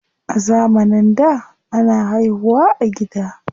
A zamanin da, ana haihu wa a gida.